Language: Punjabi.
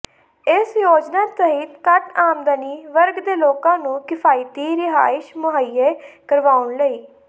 ਇਸ ਯੋਜਨਾ ਤਹਿਤ ਘੱਟ ਆਮਦਨੀ ਵਰਗ ਦੇ ਲੋਕਾਂ ਨੂੰ ਕਿਫ਼ਾਇਤੀ ਰਿਹਾਇਸ਼ ਮੁਹਈਆ ਕਰਵਾਉਣ ਲਈ